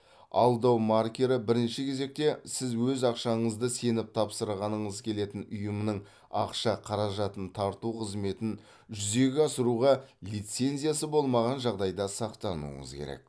алдау маркері бірінші кезекте сіз өз ақшаңызды сеніп тапсырғаныңыз келетін ұйымның ақша қаражатын тарту қызметін жүзеге асыруға лицензиясы болмаған жағдайда сақтануыңыз керек